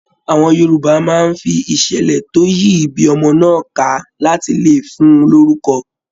Àwọn Yorùbá máa n fí iṣẹlẹ to yìí ibí ọmọ náà ká láti lè fún lórúkọ̀.